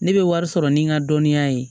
Ne bɛ wari sɔrɔ ni n ka dɔnniya ye